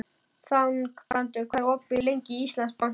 Þangbrandur, hvað er opið lengi í Íslandsbanka?